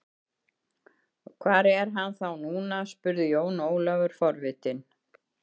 Hvar er hann þá núna spurði Jón Ólafur forvitinn.